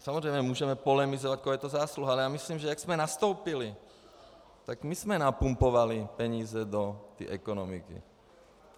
Samozřejmě můžeme polemizovat, koho je to zásluha, ale já myslím, že jak jsme nastoupili, tak my jsme napumpovali peníze do té ekonomiky.